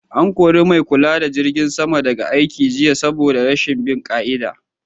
An kori mai kula da jirgin sama daga aiki jiya saboda rashin bin ƙa'ida